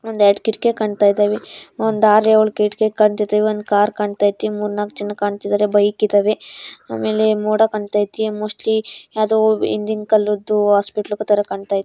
ಒಂದ್ ಎರಡು ಕಿಟಕಿ ಕಾಣ್ತಾಯಿದಾವೆ ಒಂದ್ ಆರ್ ಎಳ್ ಕಿಟಕಿ ಕಾಣ್ತಾಯಿದಾವೆ ಮೂರ್ನಾಕು ಜನ ಕಾಣ್ತಾಯಿದಾರೆ ಆಮೇಲೆ ಮೊದ ಕಣ್ತೈತಿ ಮೊಸ್ಲಿ ಯಾವುದೋ ಹಿಂದಿನ ಕಾಲದ್ದು ಹಾಸ್ಪಿಟಲ್ ತರ ಕಾಣ್ತೈತೆ.